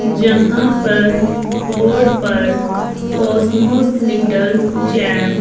जहां पर बोर्ड पर कॉसमॉस लिटिल चैंप --